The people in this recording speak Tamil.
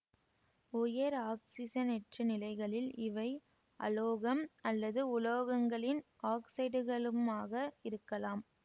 உயர் ஆக்சிசனேற்ற நிலைகளில் இவை அலோகம் அல்லது உலோகங்களின் ஆக்சைடுகளுமாக இருக்கலாம்